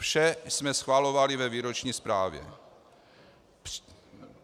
Vše jsme schvalovali ve výroční zprávě.